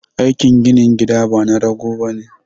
Aikin ginin gida bana rago bane